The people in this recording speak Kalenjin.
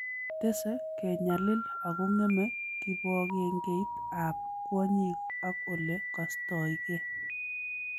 Tese kenyalil akong'eme kibogengeit ab kwonyik ak ole kastoygei